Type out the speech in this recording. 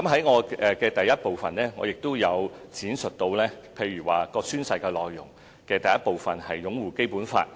我在主體答覆第一部分提到，宣誓內容的第一部分是擁護《基本法》。